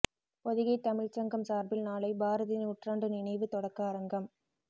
பொதிகைத் தமிழ்ச் சங்கம் சாா்பில் நாளை பாரதி நூற்றாண்டு நினைவுத் தொடக்க அரங்கம்